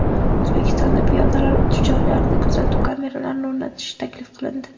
O‘zbekistonda piyodalar o‘tish joylariga kuzatuv kameralarini o‘rnatish taklif qilindi.